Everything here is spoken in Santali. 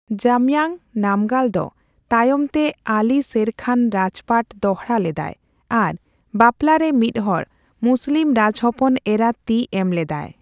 ᱡᱟᱢᱭᱟᱝ ᱱᱟᱢᱜᱟᱞ ᱫᱚ ᱛᱟᱭᱚᱢᱛᱮ ᱟᱞᱤ ᱥᱮᱨ ᱠᱷᱟᱱ ᱨᱟᱡᱽ ᱯᱟᱴ ᱫᱚᱲᱦᱟ ᱞᱮᱫᱟᱭ ᱟᱨ ᱵᱟᱯᱞᱟᱨᱮ ᱢᱤᱫᱦᱚᱲ ᱢᱩᱥᱞᱤᱢ ᱨᱟᱡᱽ ᱦᱚᱯᱚᱱ ᱮᱨᱟ ᱛᱤ ᱮᱢ ᱞᱮᱫᱟᱭ ᱾